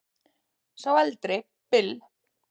Sá eldri Bill.